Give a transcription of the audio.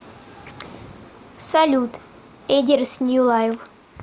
салют эдирс нью лайв